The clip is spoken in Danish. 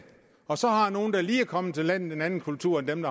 og så har nogle der lige er kommet til landet en anden kultur end dem